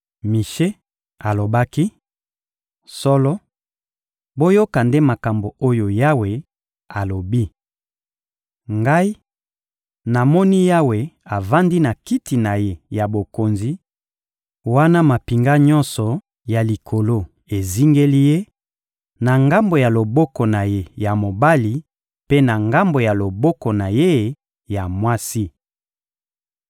Mishe alobaki: — Solo, boyoka nde makambo oyo Yawe alobi! Ngai, namoni Yawe avandi na Kiti na Ye ya bokonzi, wana mampinga nyonso ya likolo ezingeli Ye, na ngambo ya loboko na Ye ya mobali mpe na ngambo ya loboko na Ye ya mwasi.